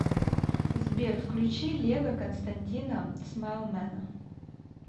сбер включи лего константина смайлмэна